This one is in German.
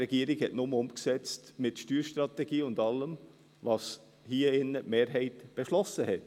Die Regierung hat mit der Steuerstrategie und allem nur umgesetzt, was die Mehrheit hier im Grossen Rat beschlossen hat.